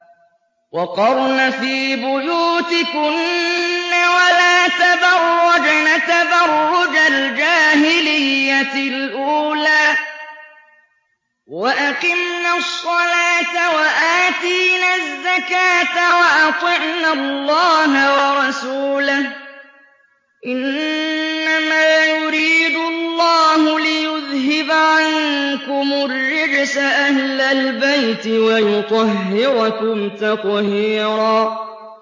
وَقَرْنَ فِي بُيُوتِكُنَّ وَلَا تَبَرَّجْنَ تَبَرُّجَ الْجَاهِلِيَّةِ الْأُولَىٰ ۖ وَأَقِمْنَ الصَّلَاةَ وَآتِينَ الزَّكَاةَ وَأَطِعْنَ اللَّهَ وَرَسُولَهُ ۚ إِنَّمَا يُرِيدُ اللَّهُ لِيُذْهِبَ عَنكُمُ الرِّجْسَ أَهْلَ الْبَيْتِ وَيُطَهِّرَكُمْ تَطْهِيرًا